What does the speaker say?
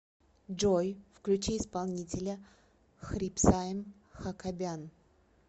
джой включи исполнителя хрипсайм хакобян